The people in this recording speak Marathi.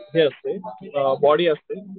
हे असते की बॉडी असते.